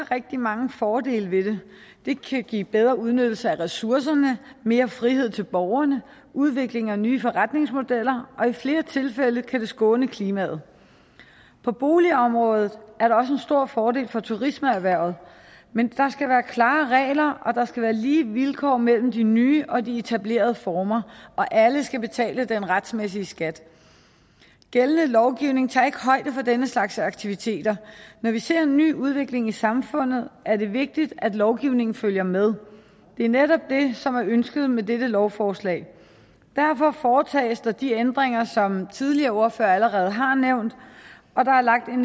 rigtig mange fordele ved det det kan give bedre udnyttelse af ressourcerne mere frihed til borgerne udvikling af nye forretningsmodeller og i flere tilfælde kan det skåne klimaet på boligområdet er der også en stor fordel for turismeerhvervet men der skal være klare regler og der skal være lige vilkår mellem de nye og de etablerede former og alle skal betale den retmæssige skat gældende lovgivning tager ikke højde for denne slags aktiviteter når vi ser en ny udvikling i samfundet er det vigtigt at lovgivningen følger med det er netop det som er ønsket med dette lovforslag derfor foretages der de ændringer som tidligere ordførere allerede har nævnt og der er lagt en